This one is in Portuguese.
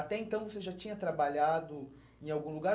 Até então você já tinha trabalhado em algum lugar?